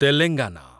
Telangana